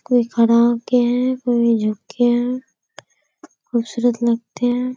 कोई खड़ा हो के है कोई झुक के है खूबसूरत लगते है।